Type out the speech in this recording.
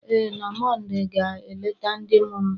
Ee, na Mọnde ga-eleta ndị mụrụ m,